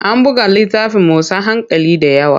An buga littafin motsa hankali da yawa.